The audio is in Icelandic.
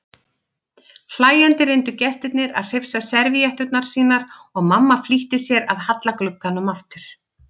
Hlæjandi reyndu gestirnir að hrifsa servíetturnar sínar og mamma flýtti sér að halla glugganum aftur.